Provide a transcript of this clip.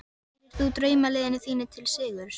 Stýrir þú draumaliðinu þínu til sigurs?